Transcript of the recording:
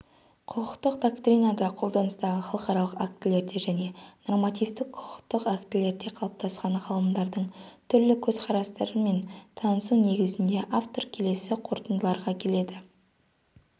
құқықтық доктринада қолданыстағы халықаралық актілерде және нормативтік құқықтық актілерде қалыптасқан ғалымдардың түрлі көз қарастарымен танысу негізінде автор келесі қорытындыларға келеді